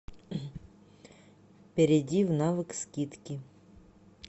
перейди в навык скидки